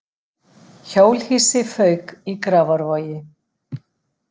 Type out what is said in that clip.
Hjólhýsi fauk í Grafarvogi